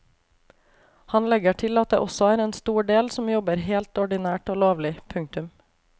Han legger til at det også er en stor del som jobber helt ordinært og lovlig. punktum